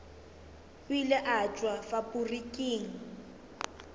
o ile a tšwa faporiking